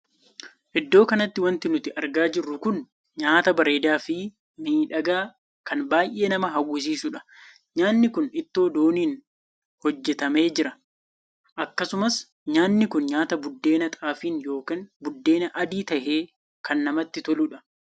Iddoo kanatti wanti nuti argaa jirru kun nyaataa bareedaa fi miidhagaa kan baay'ee nama hawwisiisuudha. nyaanni kun ittoo dooniin hojjetame jira. akkasumas nyaanni kun nyaata buddeen xaafiin ykn buddeen adii tahee kan namatti toluudha.